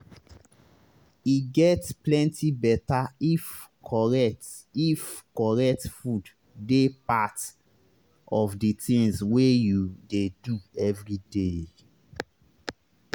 e get plenty beta if correct if correct food dey part of the tinz wey you dey do everyday.